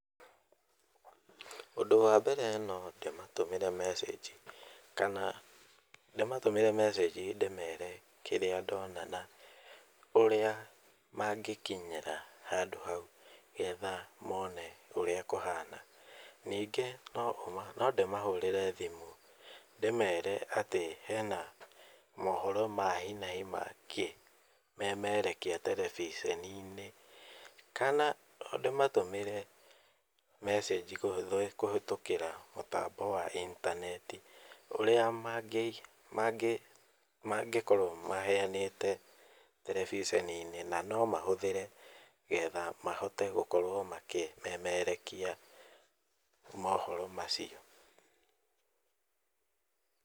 Ũndũ wa mbere no ndĩmatũmĩre message kana ndĩmatũmĩre message ndĩmere kĩrĩa ndona na ũrĩa mangĩkinyĩra handũ hau nĩgetha mone ũrĩa kũhana. Ningĩ no ndĩmahũrĩre thimũ ndĩmere hena maũndũ ma hi na hi mangĩmemerekia terebiceni-inĩ. Kana ndĩmatũmĩre message kũhĩtũkĩra mũtambo wa intaneti ũrĩa mangĩkorwo maheanĩte terebiceni-inĩ. Na no mahũthĩre getha mahote gũkorwo makĩmemerekia mohoro macio.